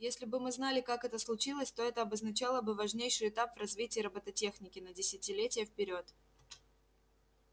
если бы мы знали как это случилось то это обозначало бы важнейший этап в развитии робототехники на десятилетия вперёд